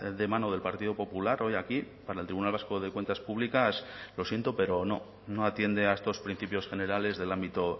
de mano del partido popular hoy aquí para el tribunal vasco de cuentas públicas lo siento pero no no atiende a estos principios generales del ámbito